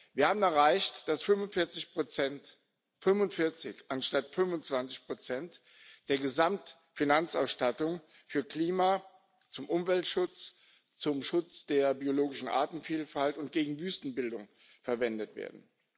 Wir haben erreicht, dass 45 Prozent 45 anstatt 25 Prozent der Gesamtfinanzausstattung für Klima, zum Umweltschutz, zum Schutz der biologischen Artenvielfalt und gegen Wüstenbildung verwendet werden.